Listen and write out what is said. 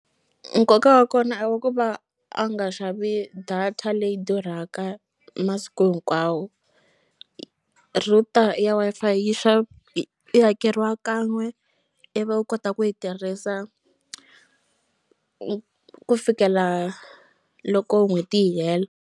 Nkoka wa kona i wa ku va a nga xavi data leyi durhaka masiku hinkwawo router ya Wi-Fi yi yi hakeriwa kan'we ivi u kota ku yi tirhisa ku fikela loko n'hweti yi hela.